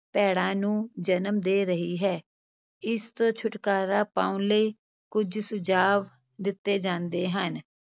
ਭੈੜਾਂ ਨੂੰ ਜਨਮ ਦੇ ਰਹੀ ਹੈ, ਇਸ ਤੋਂ ਛੁਟਕਾਰਾ ਪਾਉਣ ਲਈ ਕੁੱਝ ਸੁਝਾਵ ਦਿੱਤੇ ਜਾਂਦੇ ਹਨ।